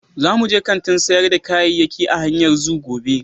Za mu je kantin sayar da kayayyaki a hanyar Zoo gobe.